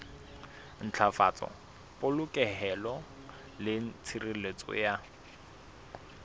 ntlafatsa polokeho le tshireletso ya